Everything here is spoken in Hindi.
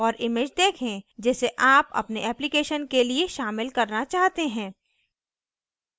और image देखें जिसे आप अपने application के लिए शामिल करना चाहते हैं